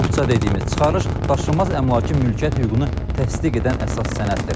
Kupça dediyimiz çıxarış daşınmaz əmlakın mülkiyyət hüququnu təsdiq edən əsas sənəddir.